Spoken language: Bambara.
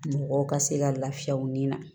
Mɔgɔw ka se ka lafiya u ni na